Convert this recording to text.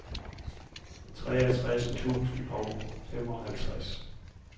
treogtres tusind og femoghalvtreds